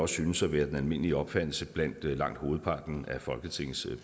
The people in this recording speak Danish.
synes at være den almindelige opfattelse blandt langt hovedparten af folketingets